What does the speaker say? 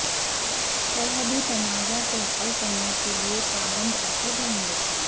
سرحدی تنازعہ کو حل کرنے کے لئے پابند عہد ہے ہندوستان